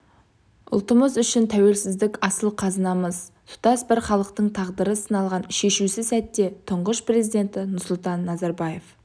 ұлтымыз үшін тәуелсіздік асыл қазынамыз тұтас бір халықтың тағдыры сыналған шешуші сәтте тұңғыш президенті нұрсұлтан назарбаев